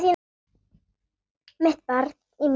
Mitt barn í mér.